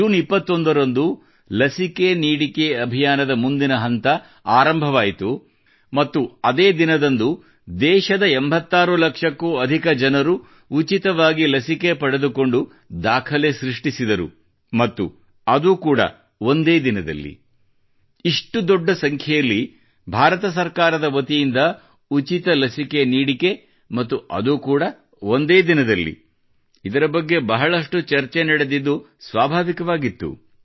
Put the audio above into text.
June 21 ರಂದು ಲಸಿಕೆ ನೀಡಿಕೆ ಅಭಿಯಾನದ ಮುಂದಿನ ಹಂತ ಆರಂಭವಾಯಿತು ಮತ್ತು ಅದೇ ದಿನದಂದು ದೇಶದ 86 ಲಕ್ಷಕ್ಕೂ ಅಧಿಕ ಜನರು ಉಚಿತವಾಗಿ ಲಸಿಕೆ ಪಡೆದುಕೊಂಡು ದಾಖಲೆ ಸೃಷ್ಟಿಸಿದರು ಮತ್ತು ಅದು ಕೂಡಾ ಒಂದೇ ದಿನದಲ್ಲಿಇಷ್ಟು ದೊಡ್ಡ ಸಂಖ್ಯೆಯಲ್ಲಿ ಭಾರತ ಸರ್ಕಾರದ ವತಿಯಿಂದ ಉಚಿತ ಲಸಿಕೆ ನೀಡಿಕೆ ಮತ್ತು ಅದು ಕೂಡಾ ಒಂದೇ ದಿನದಲ್ಲಿ ಇದರ ಬಗ್ಗೆ ಬಹಳಷ್ಟು ಚರ್ಚೆ ನಡೆದಿದ್ದು ಸ್ವಾಭಾವಿಕವಾಗಿತ್ತು